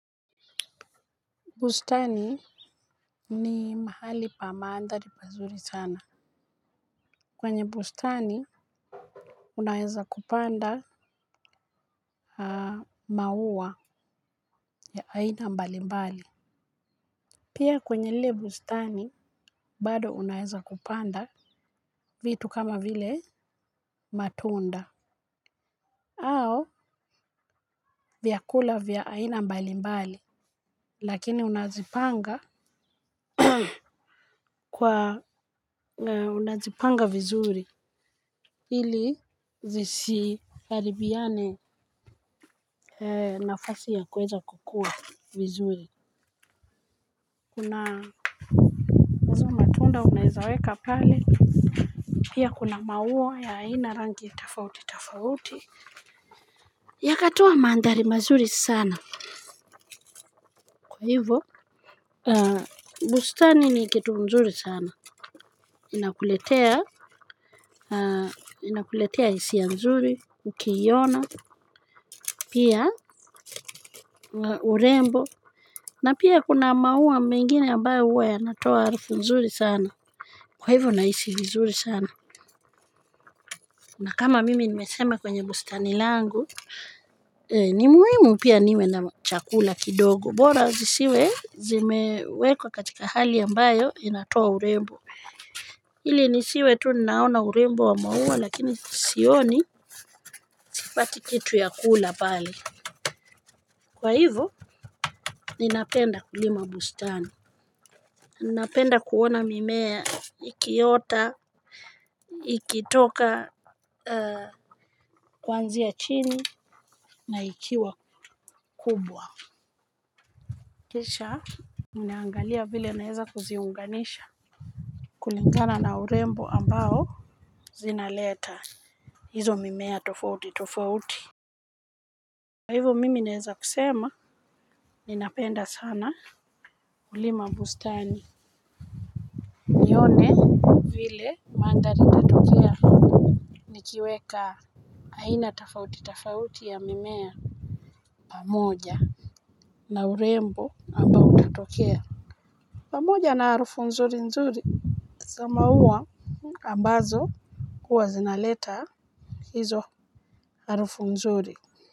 Bustani ni mahali pa maandhari mazuri sana. Kwenye bustani unaeza kupanda maua ya aina mbalimbali. Pia kwenye lile bustani bado unaeza kupanda vitu kama vile matunda. Ao vyakula vya aina mbalimbali. Lakini unazipanga kwa unazipanga vizuri. Ili zisiharibiane nafasi ya kueza kukua vizuri. Kuna hizo matunda unaezaweka pale. Pia kuna maua ya aina rangi tofauti tafauti. Yakatoa mandhari mazuri sana. Kwa hivyo bustani ni kitu mzuri sana. Inakuletea hisia nzuri, ukiiona, pia urembo. Na pia kuna maua mengine ambayo huwe yanatoa harufu nzuri sana. Kwa hivyo na hisi vizuri sana. Na kama mimi nimeseme kwenye bustani langu ni muhimu pia niwe na chakula kidogo bora zisiwe zimewekwa katika hali ambayo inatoa urembo ili nisiwe tu ninaona urembo wa maua lakini sioni pati kitu ya kula pale. Kwa hivyo ninapenda kulima bustani. Napenda kuona mimea ikiyota ikitoka kwanzia chini na ikiwa kubwa. Mnaangalia vile naeza kuziunganisha. Kulingana na urembo ambao zinaleta. Hizo mimea tofauti tofauti. Kwa hivyo mimi naeza kusema ni napenda sana. Ulima bustani. Vile mandhari itatokea.nikiweka aina tofauti tofauti ya mimea. Pamoja na urembo ambao utatokea pamoja na arufu nzuri nzuri za mauwa ambazo huwa zinaleta hizo harufu nzuri.